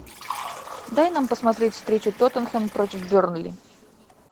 дай нам посмотреть встречу тоттенхэм против бернли